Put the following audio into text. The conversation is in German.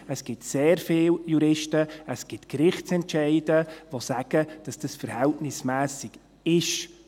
Es gibt sehr viele Juristen, es gibt Gerichtsentscheide, die sagen, dass dies verhältnismässig ist.